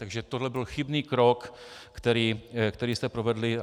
Takže toto byl chybný krok, který jste provedli.